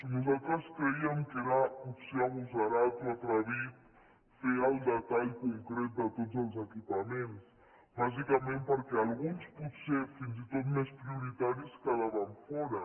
nosaltres creiem que era potser agosarat o atrevit fer el detall concret de tots els equipaments bàsicament perquè alguns potser fins i tot més prioritaris quedaven fora